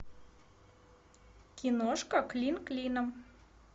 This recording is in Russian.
киношка клин клином